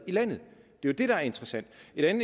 jeg